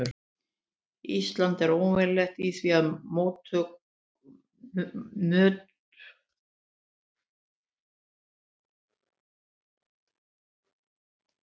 Ísland er óvenjulegt í því að möttulstrókur og gliðnunarbelti falli saman.